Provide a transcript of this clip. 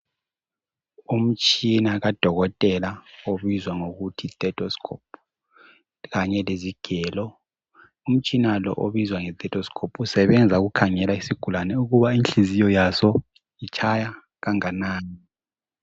Umtshina kadokotela obizwa ngokuthi yi telescope kanye lezigelo umtshina lo obizwa ngetelescope usebenza ukukhangela isigulane ukuba inhliziyo yazo itshaya kanganani.